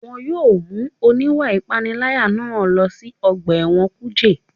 Wọ́n yóò mú oníwà ìpániláyà náà lọ sí ọgbà ẹ̀wọ̀n kùjé